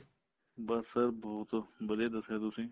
ਬੱਸ sir ਬਹੁਤ ਵਧੀਆ ਦੱਸਿਆ ਤੁਸੀਂ